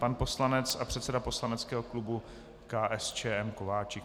Pan poslanec a předseda poslaneckého klubu KSČM Kováčik.